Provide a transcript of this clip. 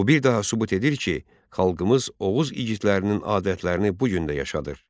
Bu bir daha sübut edir ki, xalqımız Oğuz igidlərinin adətlərini bu gün də yaşadır.